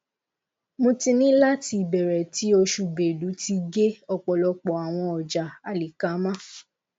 mo ti ni lati ibẹrẹ ti osu belu ti ge ọpọlọpọ awọn ọja alikama